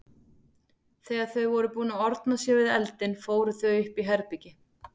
Þegar þau voru búin að orna sér við eldinn fóru þau upp í herbergi.